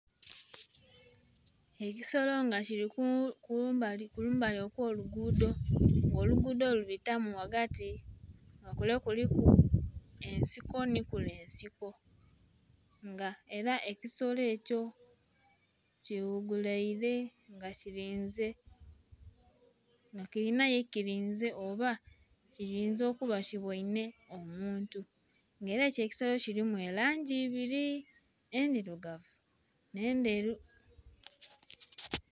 Ekisolo nga kili kumbali okwo lugudho nga olugudho lubitamu ghagati nga kule kuliku ensiko nhi kule ensiko nga era ekisolo ekyo kighuguleire nga kilinze nga kilinha ye kilinze oba kiyinza okuba nga kibweinhe omuntu nga era ekisolo ekyo kilimu elangi ebiri endhirugavu nhe ndheru.